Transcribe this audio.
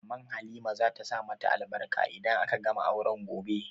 Maman Halima za ta sa ma ta albarka idan aka gama auren gobe